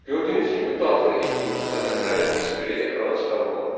Gördüyünüz kimi daxil etdiyimiz ədədlərin heç biri ekrana çıxarılmadı.